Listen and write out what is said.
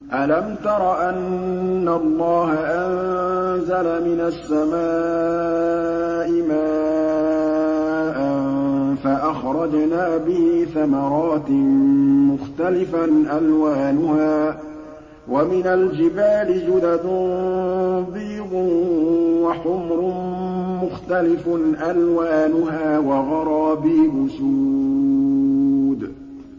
أَلَمْ تَرَ أَنَّ اللَّهَ أَنزَلَ مِنَ السَّمَاءِ مَاءً فَأَخْرَجْنَا بِهِ ثَمَرَاتٍ مُّخْتَلِفًا أَلْوَانُهَا ۚ وَمِنَ الْجِبَالِ جُدَدٌ بِيضٌ وَحُمْرٌ مُّخْتَلِفٌ أَلْوَانُهَا وَغَرَابِيبُ سُودٌ